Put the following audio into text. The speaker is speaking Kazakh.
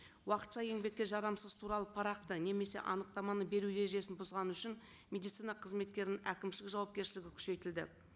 уақытша еңбекке жарамсыз туралы парақты немесе анықтаманы беру ережесін бұзғаны үшін медицина қызметкерінің әкімшілік жауапкершілігі күшейтілді